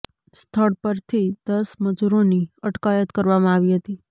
સ્થળ પરથી દસ મજૂરોની અટકાયત કરવામાં આવી હતી